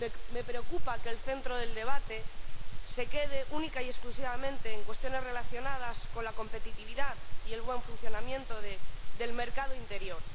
Me preocupa que el centro del debate se limite exclusivamente a cuestiones relacionadas con la competitividad y el buen funcionamiento del mercado interior.